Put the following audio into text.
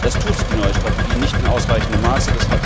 Das tut die neue Strategie nicht in ausreichendem Maße.